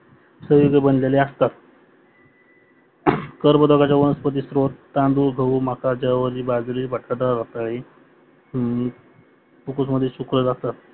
संयुगी बनलेले असतात कार्बोदके वनस्पति थ्रो तांदुड, गहू, मक, ज्वारी, बाजरी, बटाटे रताडी अं कुकर मध्ये शिजवलेले असतात